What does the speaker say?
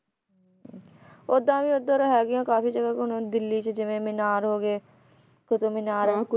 ਉਹਦਾ ਵੀ ਉਧਰ ਹੈਗੀਆਂ ਕਾਫੀ ਜਗ੍ਹਾ ਉਹਨਾਂ ਨੂੰ ਦਿੱਲੀ ਚ ਜਿਵੇਂ ਮੀਨਾਰ ਹੋਗੇ ਕੁਤੁਬ ਮੀਨਾਰ